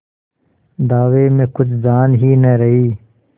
दावे में कुछ जान ही न रही